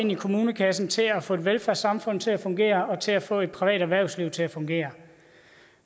i kommunekassen til at få velfærdssamfundet til at fungere og til at få et privat erhvervsliv til at fungere